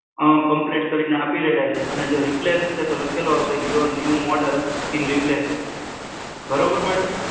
અં complete કરીને આપી રહ્યા છે અને જો રિપ્લેસ હશે તો લખેલું આવશે your new model in replacing